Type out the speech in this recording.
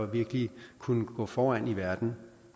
virkelig kunne gå foran i verden